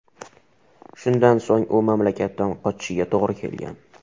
Shundan so‘ng u mamlakatdan qochishiga to‘g‘ri kelgan.